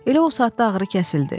Elə o saatda ağrı kəsildi.